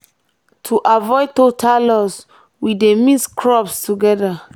to avoid total loss we dey mix crops together.